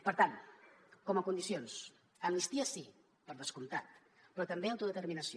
per tant com a condicions amnistia sí per descomptat però també autodeterminació